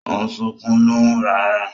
O n sunkun lohùn rara